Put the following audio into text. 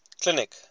clinic